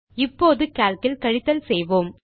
இப்போது கால்க் இல் கழித்தல் செய்வோம்